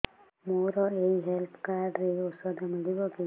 ମୋର ଏଇ health card ରେ ଔଷଧ ମିଳିବ କି